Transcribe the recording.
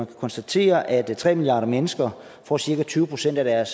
konstatere at tre milliarder mennesker får cirka tyve procent af deres